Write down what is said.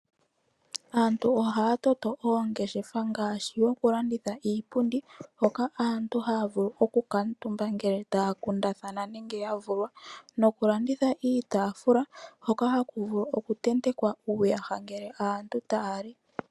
Aantu ohaya toto oongeshefa ngaashi yoku landitha iipundi hoka aantu haa vulu oku kaatumba ngele taya kundathana nenge yavulwa noku landitha iitaafula hoka haku vulu oku tentekwa uuyaha ngele aantu taali.